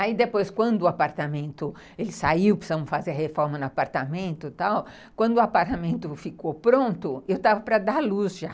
Aí, depois, quando o apartamento saiu, precisamos fazer a reforma no apartamento e tal, quando o apartamento ficou pronto, eu estava para dar à luz já.